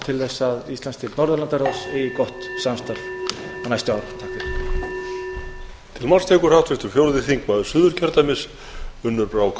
til þess að íslandsdeild norðurlandaráðs eigi gott samstarf á næstu árum